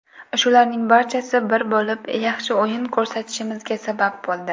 Shularning barchasi bir bo‘lib, yaxshi o‘yin ko‘rsatishimizga sabab bo‘ldi.